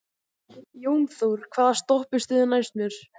Jónþór, hvaða stoppistöð er næst mér?